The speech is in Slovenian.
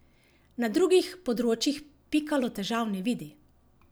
Na drugih področjih Pikalo težav ne vidi.